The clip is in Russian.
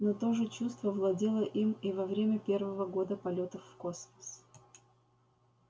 но то же чувство владело им и во время первого года полётов в космос